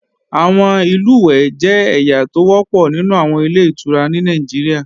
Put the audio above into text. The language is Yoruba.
Àwọn ìlùwẹ̀ẹ̀ jẹ́ ẹ̀yà tó wọ́pọ̀ nínú àwọn Ilé-ìtura ní Nàìjíríà